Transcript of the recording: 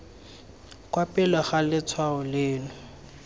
kwa pele ga letshwao leno